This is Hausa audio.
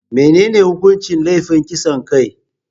Menene hukuncin laifin kasan kai?